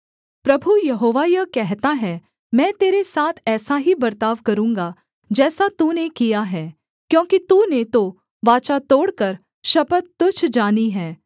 प्रभु Jehovah यह कहता है मैं तेरे साथ ऐसा ही बर्ताव करूँगा जैसा तूने किया है क्योंकि तूने तो वाचा तोड़कर शपथ तुच्छ जानी है